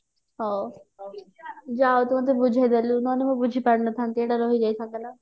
ଯ ହଉ ତୁ ମତେ ବୁଝେଇଦେଲୁ ନହେଲେ ମୁଁ ବୁଝି ପରି ନଥାନ୍ତି ଏଇଟା ରହି ଯାଇଥାନ୍ତା ନା